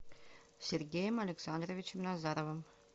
сергеем александровичем назаровым